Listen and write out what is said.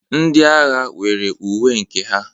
Ndị agha nwere uwe nke ha.